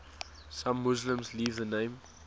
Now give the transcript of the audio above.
some muslims leave the name